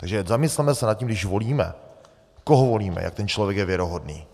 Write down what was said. Takže zamysleme se nad tím, když volíme, koho volíme, jak ten člověk je věrohodný.